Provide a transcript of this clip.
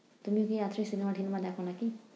তুমি কি রাত্রে cinema টিনেমা দেখো নাকি?